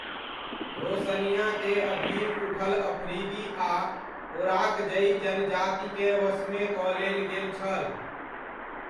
रोशनियाके अधीन उठल अफ्रीदी आ ओराकजइ जनजातिकेँ वशमे कऽ लेल गेल छल।